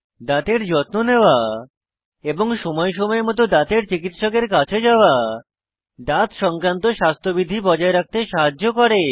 দাঁতের যত্ন নেওয়া এবং সময় সময় মত দাঁতের চিকিত্সকের কাছে যাওয়া দাঁত সংক্রান্ত স্বাস্থ্যবিধি বজায় রাখতে সাহায্য করে